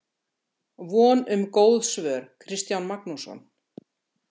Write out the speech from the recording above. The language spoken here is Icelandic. Von um góð svör, Kristján Magnússon.